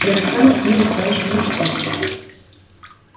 я расстанусь с ней достаточно легко